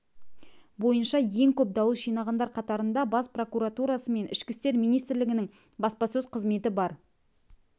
бойынша ең көп дауыс жинағандар қатарында бас прокуратурасы мен ішкі істер министрлігінің баспасөз қызметі бар